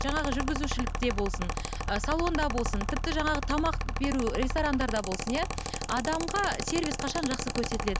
жаңағы жүргізушілікте болсын ы салонда болсын тіпті жаңағы тамақ беру ресторандарда болсын иә адамға сервис қашан жақсы көрсетіледі